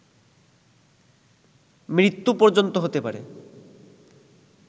মৃত্যু পর্যন্ত হতে পারে